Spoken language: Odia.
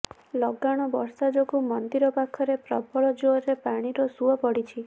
ଲଗାଣ ବର୍ଷା ଯୋଗୁଁ ମନ୍ଦିର ପାଖରେ ପ୍ରବଳ ଯୋରରେ ପାଣିର ସୁଅ ପଡିଛି